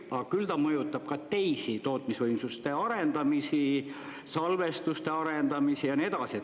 Aga küll ta mõjutab ka teisi tootmisvõimsuste arendamisi, salvestuste arendamisi ja nii edasi.